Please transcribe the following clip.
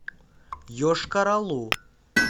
йошкар олу